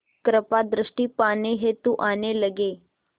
कृपा दृष्टि पाने हेतु आने लगे